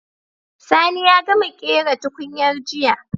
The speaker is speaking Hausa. Sani ya gama ƙera tukunyar jiya